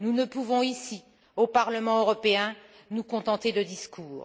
Nous ne pouvons ici, au Parlement européen, nous contenter de discours.